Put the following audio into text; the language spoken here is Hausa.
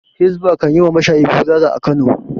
Hizba kan yi wa mashayi bulala a Kano.